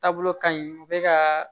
Taabolo ka ɲi u bɛ ka